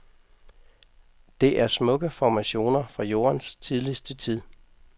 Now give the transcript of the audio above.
Det er smukke formationer fra jordens tidligste tid.